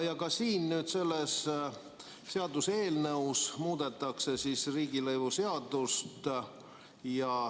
Ka siin selles seaduseelnõus muudetakse riigilõivuseadust.